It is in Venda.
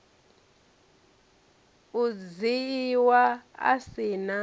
u dzhiiwa a si na